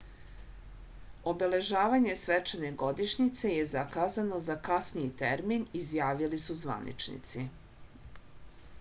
obeležavanje svečane godišnjice je zakazano za kasniji termin izjavili su zvaničnici